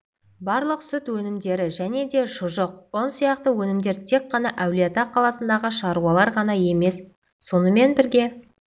барлық сүт өнімдері және де шұжық ұн сияқты өнімдер тек қана әулиеата қаласындағы шаруаларға ғана емес сонымен бірге